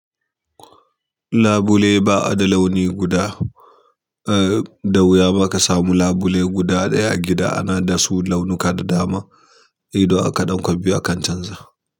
Labule ba a da launi guda, eh da wuya ma ka samu labule guda ɗaya a gida ana dasu launuka da dama, ido aka ɗan kwan biyu akan canza.